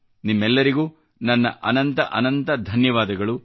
ನಿಮ್ಮೆಲ್ಲರಿಗೂ ನನ್ನ ಅನಂತ ಅನಂತ ಧನ್ಯವಾದಗಳು